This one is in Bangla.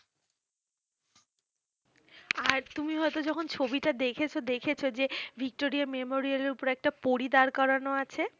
আর তুমি হয়তো যখন ছবিটা দেখেছো দেখেছো যে ভিক্টোরিয়া মেমোরিয়াল এর উপর একটা পরী দাঁড় করানো আছে।